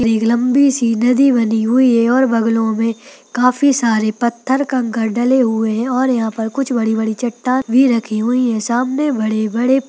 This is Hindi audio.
एक लंबी सी नदी बनी हुई हैऔर बगलों में काफी सारे पत्थर-कंकण डले हुए हैं और यहाँ पर कुछ वड़ि-वड़ि चट्टा-न भी रखी हुई हैं। सामने वड़े-वड़े --